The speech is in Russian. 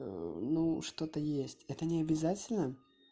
ну что-то есть это не обязательно